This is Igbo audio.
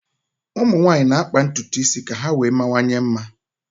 ụmụ nwanyị na-akpa ntutu isi ka ha wee mawanye mma